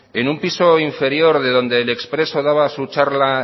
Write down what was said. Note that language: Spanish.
en un piso inferior de donde el expreso daba su charla